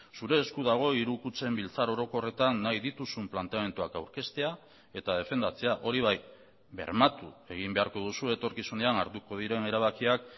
zure esku dago hiru kutxen biltzar orokorretan nahi dituzun planteamenduak aurkeztea eta defendatzea hori bai bermatu egin beharko duzu etorkizunean hartuko diren erabakiak